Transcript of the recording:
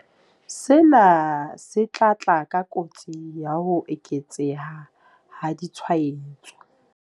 Sena se tla tla ka kotsi ya ho eketseha ha ditshwaetso.